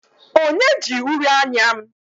Onye ji uri anya m?